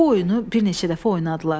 Bu oyunu bir neçə dəfə oynadılar.